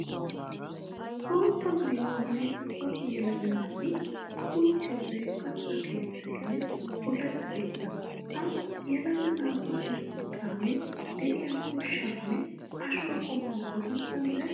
Bootta maayuwa maayida cora yelaga naati uttosay katta keetteeyye bullachcha keettee? Ha yelaga naatu sinttan de'iya ushshaa nne ashuwa qommuwa odana danddayay?